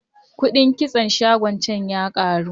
Kuɗin kitson shagon can ya karu.